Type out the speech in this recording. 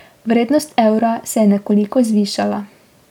Vrednost evra se je nekoliko zvišala.